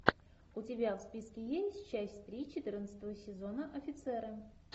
у тебя в списке есть часть три четырнадцатого сезона офицеры